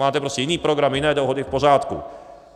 Máte prostě jiný program, jiné dohody, v pořádku.